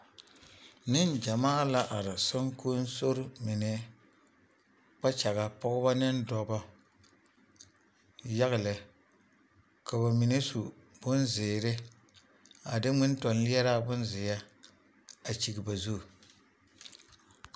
Neŋgyɛmaa la are soŋkonsori mine kpakyaga, Pɔgebɔ ne dɔbɔ yaga lɛ ka bamine su bonzeere a de ŋmentɔnleɛraa bonzeɛ a kyigi ba zu.